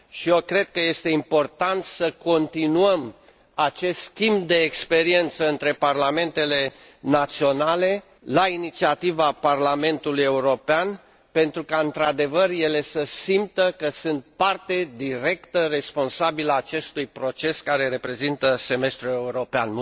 Și eu cred că este important să continuăm acest schimb de experiență între parlamentele naționale, la inițiativa Parlamentului European, pentru ca, într adevăr, ele să simtă că sunt parte directă, responsabilă a acestui proces care reprezintă semestrul european.